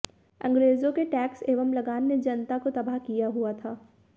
अंग्रेजों के टैक्स एवं लगान ने जनता को तबाह किया हुआ था